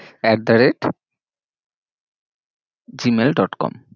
at the rate gmail dot com